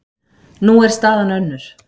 Nú er staðan önnur.